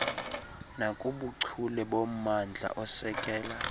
nakubuchule bommandla osekela